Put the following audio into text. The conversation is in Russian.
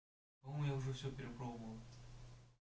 думаю уже всё перепробовал